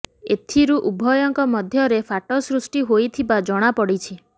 ଏଥିରୁ ଉଭୟଙ୍କ ମଧ୍ୟରେ ଫାଟ ସୃଷ୍ଟି ହୋଇଥିବା ଜଣା ପଡ଼ିଛି